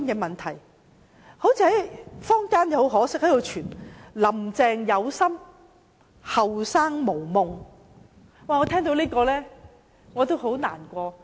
很可惜，坊間流傳一句說話:"林鄭有心，後生無夢"，我聽到這句話感到很難過。